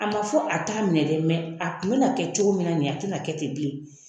A ma fɔ a t'a minɛ dɛ mɛ a kun bɛna kɛ cogo min na nin ye a tena kɛ ten bilen